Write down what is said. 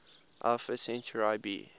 alpha centauri b